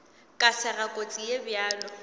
ka sega kotsi ye bjalo